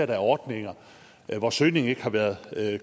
der er ordninger hvor søgningen ikke har været